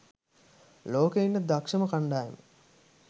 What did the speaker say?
ලෝකේ ඉන්න දක්ෂම කන්ඩායම.